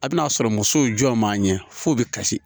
A bɛn'a sɔrɔ musow jɔ man ɲɛ f'o bɛ kasi